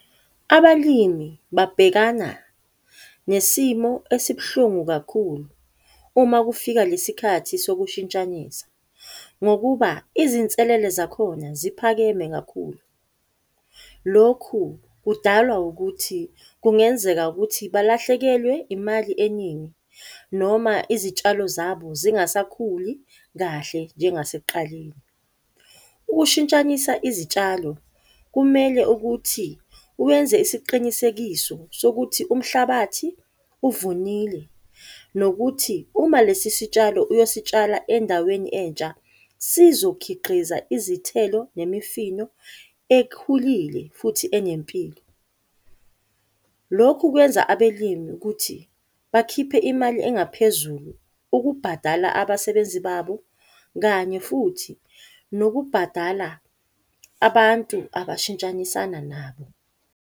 Abalimi babhekana nesimo esibuhlungu kakhulu uma kufika lesikhathi sokushintshanisa, ngokuba izinselele zakhona ziphakeme kakhulu. Lokhu kudalwa ukuthi kungenzeka ukuthi balahlekelwe imali eningi noma izitshalo zabo zingasakhuli kahle njengasekuqaleni. Ukushintshanisa izitshalo kumele ukuthi wenze isiqinisekiso sokuthi umhlabathi uvunile, nokuthi uma lesi sitshalo uyositshala endaweni entsha sizokhiqiza izithelo nemifino ekhulile futhi enempilo. Lokhu kwenza abelimi ukuthi bakhiphe imali engaphezulu ukubhadala abasebenzi babo kanye futhi nokubhadala abantu abashintshanisana nabo.